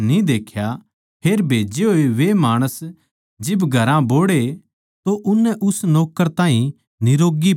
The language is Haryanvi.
फेर भेजे होए वे माणस जिब घरां बोहड़े तो उननै उस नौक्कर ताहीं निरोग्गी पाया